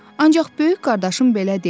Ancaq böyük qardaşım belə deyil.